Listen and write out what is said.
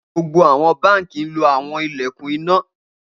Gbogbo awọn banki lo awọn ilẹkun ina